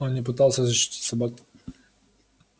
он не пытался защитить собаку